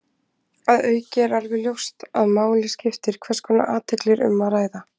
Að auki er alveg ljóst að máli skiptir hvers konar athygli um er að ræða.